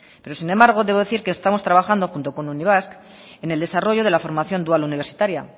pero sin embargo debo decir que estamos trabajando junto con unibasq en el desarrollo de la formación dual universitaria